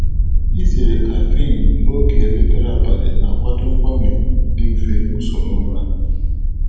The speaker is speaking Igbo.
Izere kaffin n'oge elekere abalị na-akwado mgbanwe dị mfe n’usoro ụra.